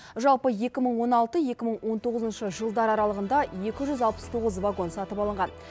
жалпы екі мың он алты екі мың он тоғызыншы жылдар аралығында екі жүз алпыс тоғыз вагон сатып алынған